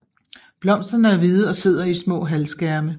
Blomsterne er hvide og sidder i små halvskærme